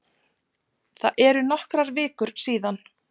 Það eru nokkrar vikur síðan.